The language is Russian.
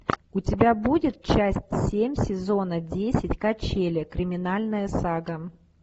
у тебя будет часть семь сезона десять качели криминальная сага